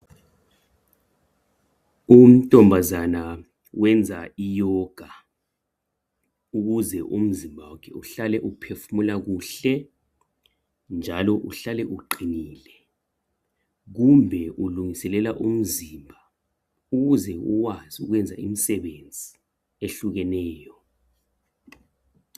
Untombazana wenza iyoga ukuze umzimba wakhe uhlale uphefumula kuhle, njalo uhlale uqinile. Kumbe ulungiselela umzimba ukuze ukwazi ukwenza imsebenzi ehlukeneyo.